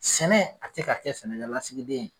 Sɛnɛ a ti ka kɛ sɛnɛkɛlasigiden ye